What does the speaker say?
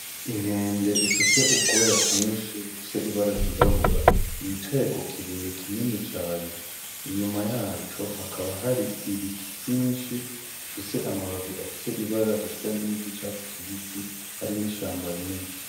inkende ifise ubwoya bwinshi bufise ibara ryirabura yicaye ku kibuye kinini cane nyuma yaco hakaba hari ibiti vyinshi bifise amababi afise ibara risa niry'icatsi kibisi hari n'ishamba rinini.